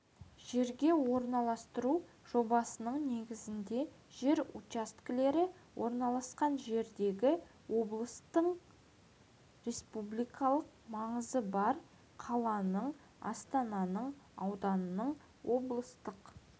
жерге орналастыру жобасының негізінде жер учаскелері орналасқан жердегі облыстың республикалық маңызы бар қаланың астананың ауданның облыстық